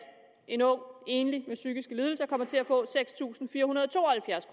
en ung enlig med psykiske lidelser kommer til at få seks tusind fire hundrede og to og halvfjerds